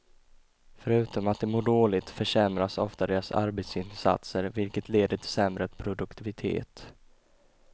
Förutom att de mår dåligt, försämras ofta deras arbetsinsatser vilket leder till sämre produktivitet.